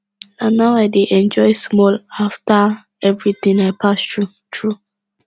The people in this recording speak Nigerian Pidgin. na now i dey enjoy small after everything i pass through through